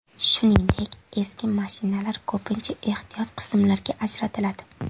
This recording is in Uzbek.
Shuningdek, eski mashinalar ko‘pincha ehtiyot qismlarga ajratiladi.